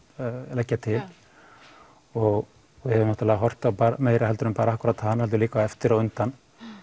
leggja til og við höfum horft á meira en akkúrat hana líka á eftir og undan